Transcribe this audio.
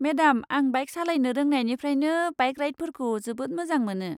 Madam आं bike सालायनो रोंनायनिफ्रायनो बाइक राइडफोरखौ जोबोद मोजां मोनो।